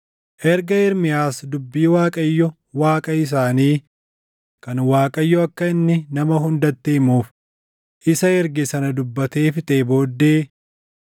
Erga Ermiyaas dubbii Waaqayyo Waaqa isaanii kan Waaqayyo akka inni nama hundatti himuuf isa erge sana dubbatee fixee booddee,